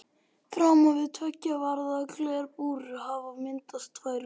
Framan við tveggja varða glerbúr hafa myndast tvær raðir.